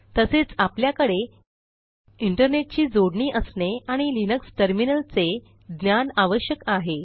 तसेच आपल्याकडे इंटरनेट ची जोडणी असणे आणि लिनक्स टर्मिनलचे ज्ञान आवश्यक आहे